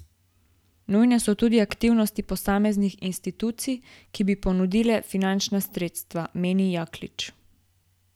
Nujne so tudi aktivnosti posameznih institucij, ki bi ponudile finančna sredstva, meni Jaklič.